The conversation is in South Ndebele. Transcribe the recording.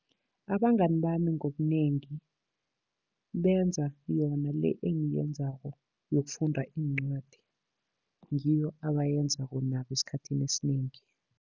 Abangani bami ngobunengi benza yona le engiyenzako yokufunda iincwadi. Ngiyo abayenzako nabo esikhathini esinengi.